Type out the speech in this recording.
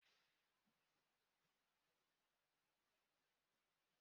Isi ọkụ ọkada ahụ anaghị achasi ike